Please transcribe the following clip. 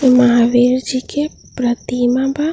इ महावीर जी के प्रतिमा बा।